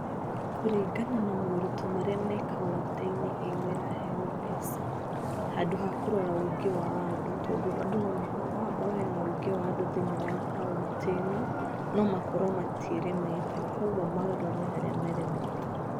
Kũringana na moritũ marĩa mekauntĩ-inĩ ĩo ĩraheo mbeca handũ hakũrora wĩingĩ wa andũ tondũ andũ nomakorwo nohakorwo hena wĩingĩ wa andũ thĩiniĩ wa kauntĩ-ĩno nomakorwo matiĩremetwo. Kuogwo magatwarĩra andũ arĩa meremetwo.